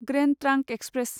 grand trunk express